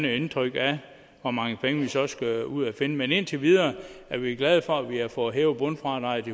et indtryk af hvor mange penge vi så skal ud og finde men indtil videre er vi glade for at vi har fået hævet bundfradraget